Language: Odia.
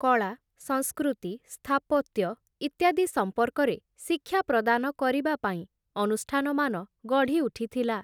କଳା ସଂସ୍କୃତି ସ୍ଥାପତ୍ୟ, ଇତ୍ୟାଦି ସମ୍ପର୍କରେ, ଶିକ୍ଷା ପ୍ରଦାନ କରିବା ପାଇଁ, ଅନୁଷ୍ଠାନମାନ ଗଢ଼ିଉଠିଥିଲା ।